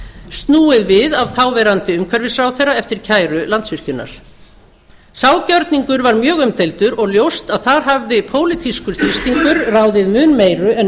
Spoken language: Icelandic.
snúið við af þáv umhverfisráðherra eftir kæru landsvirkjunar sá gjörningur var mjög umdeildur og ljóst að þar hafði pólitískur þrýstingur ráðið mun meiru en